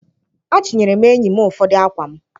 Achịnyere m enyi m ụfọdụ akwa m.